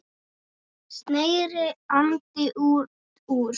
sneri Andri út úr.